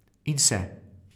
In se.